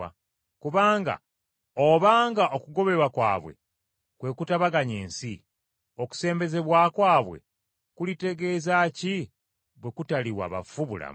Kubanga obanga okugobebwa kwabwe kwe kutabaganya ensi, okusembezebwa kwabwe kulitegeeza ki, bwe kutaliwa bafu bulamu?